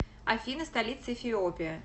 афина столица эфиопия